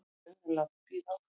Þau eru látin bíða áfram.